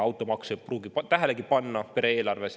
Automaksu ei pruugi pere eelarves tähelegi panna.